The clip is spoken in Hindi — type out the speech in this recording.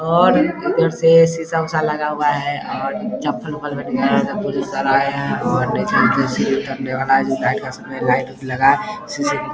और इधर से शीशा-उषा लगा हुआ है और चप्पल-उप्पल सर आए है और नीचे कुर्सी उतरने वाला है जो लाइट -उइट लगा है सीसी --